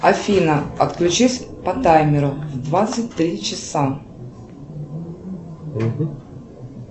афина отключись по таймеру в двадцать три часа